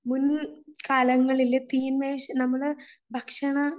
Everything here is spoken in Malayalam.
മുൻ കാലങ്ങളിലെ തീൻമേശ നമ്മളെ ഭക്ഷണ